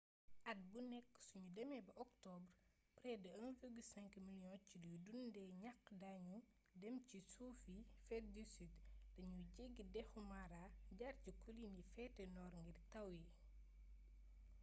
at mu nekk suñu demee ba octobre près de 1,5 million ci luy dundee ñax dañu dem ci suufi yi féte sud dañuy jéggi dexu mara jaar ci colline yi féete nord ngir taw yi